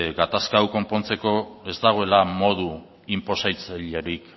gatazka hau konpontzeko ez dagoela modu inposatzailerik